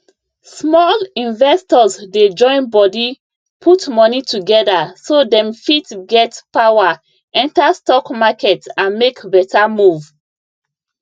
small investors dey join body put money together so dem fit get power enter stock market and make better move